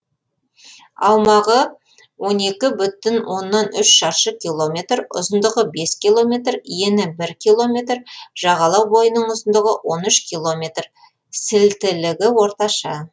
аумағы он екі бүтін оннан үш шаршы километр ұзындығы бес километр ені бір километр жағалау бойының ұзындығы он үш километр сілтілігі орташа